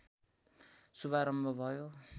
शुभारम्भ भयो